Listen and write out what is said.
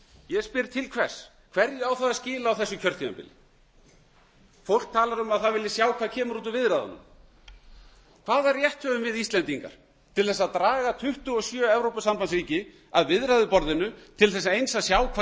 ég spyr til hvers hverju á það að skila á þessu kjörtímabili fólk talar um að það vilji sjá hvað kemur út úr viðræðunum hvaða rétt höfum við íslendingar til þess að draga tuttugu og sjö evrópusambandsríki að viðræðuborðinu til þess eins að sjá hvað